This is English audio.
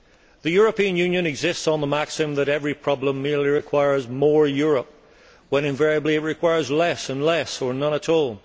The European Union exists on the maxim that every problem merely requires more Europe when invariably it requires less and less, or none at all.